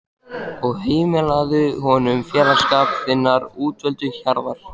og heimilaðu honum félagsskap þinnar útvöldu hjarðar.